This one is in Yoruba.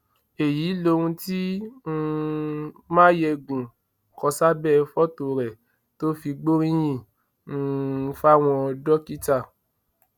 èyí lohun tí um máyẹgùn kọ sábẹ fọtò rẹ tó fi gbóríyìn um fáwọn dókítà